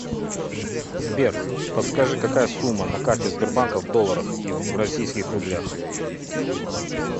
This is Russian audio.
сбер подскажи какая сумма на карте сбербанка в долларах и в российских рублях